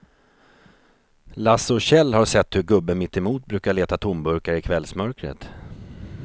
Lasse och Kjell har sett hur gubben mittemot brukar leta tomburkar i kvällsmörkret.